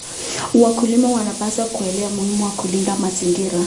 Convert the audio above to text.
Wakulima wanapaswa kuelewa umuhimu wa kulinda mazingira.